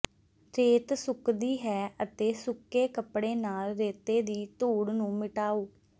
ਰੇਤ ਸੁੱਕਦੀ ਹੈ ਅਤੇ ਸੁੱਕੇ ਕੱਪੜੇ ਨਾਲ ਰੇਤੇ ਦੀ ਧੂੜ ਨੂੰ ਮਿਟਾਓ